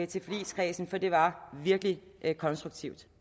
til forligskredsen for det var virkelig konstruktivt